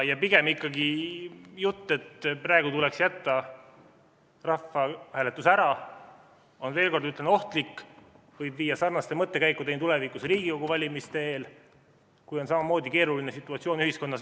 Pigem on jutt, et praegu tuleks jätta rahvahääletus ära, veel kord ütlen, ikkagi ohtlik, see võib viia sarnaste mõttekäikudeni tulevikus Riigikogu valimiste eel, kui on samamoodi keeruline situatsioon ühiskonnas.